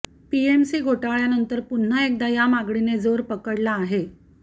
PMC घोटाळ्यानंतर पुन्हा एकदा या मागणीने जोर पकडला आहे